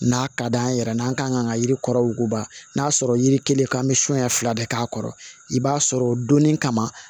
N'a ka d'an ye yɛrɛ n'an ka kan ka yiri kɔrɔ wuguba n'a sɔrɔ yiri kelen k'an bɛ sonya fila de k'a kɔrɔ i b'a sɔrɔ o donni kama